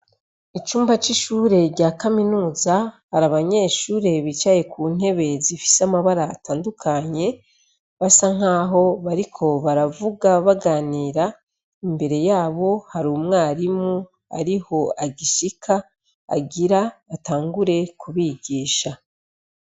Icumba c'ishure rya kaminuza, hari abanyeshuri bicaye ku ntebe zifise amabara atandukanye, basa nk'aho bariko baravuga baganira. Imbere yabo hari umwarimu ari bwo agishika, agire atangure kubigisha.